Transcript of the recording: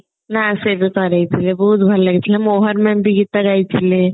ବହୁତ ଭଲ ଲାଗିଥିଲା ମୋହନା mam ବି ଗୀତ ଗାଇଥିଲେ